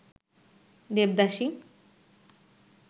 devadasi